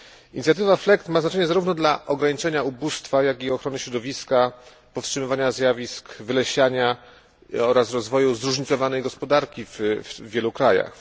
Inicjatywa FLEGT ma znaczenie zarówno dla ograniczenia ubóstwa, jak i dla ochrony środowiska, powstrzymywania zjawisk wylesiania oraz rozwoju zróżnicowanej gospodarki w wielu krajach.